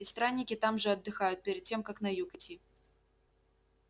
и странники там же отдыхают перед тем как на юг идти